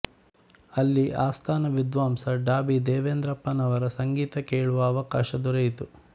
ಅಲ್ಲಿ ಆಸ್ಥಾನ ವಿದ್ವಾಂಸ ಡಾ ಬಿ ದೇವೇಂದ್ರಪ್ಪನವರ ಸಂಗೀತ ಕೇಳುವ ಅವಕಾಶ ದೊರಕಿತು